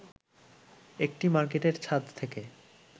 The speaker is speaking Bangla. একটি মার্কেটের ছাদ থেকে